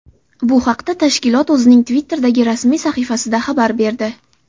Bu haqda tashkilot o‘zining Twitter’dagi rasmiy sahifasida xabar berdi .